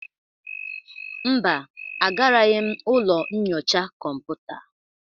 Mba, agaraghị m ụlọ nyocha kọmputa.